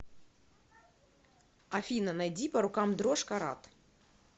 афина найди по рукам дрожь карат